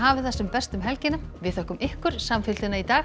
það sem best um helgina þökkum ykkur samfylgdina í dag